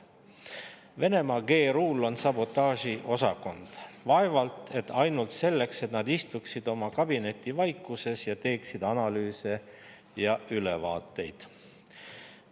Venemaa GRU-l on sabotaažiosakond – vaevalt et ainult selleks, et nad istuksid oma kabinetivaikuses ning teeksid analüüse ja ülevaateid.